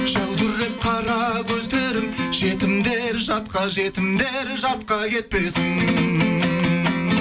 жәудіреп қара көздері жетімдер жатқа жетімдер жатқа кетпесін